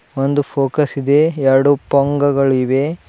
ಒಂದು ಫೋಕಸ್ ಇದೆ ಎರಡು ಪೊಂಗಗಳಿವೆ.